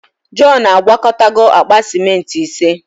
Jọn agwakọtago akpa simenti ise.